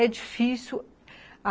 É difícil.